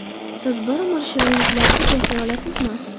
Siz bir umr shirinliklarsiz yashay olasizmi?